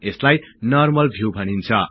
यसलाई normal view भनिन्छ